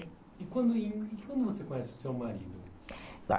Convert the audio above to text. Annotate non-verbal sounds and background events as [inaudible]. E quando [unintelligible] e quando você conhece o seu marido?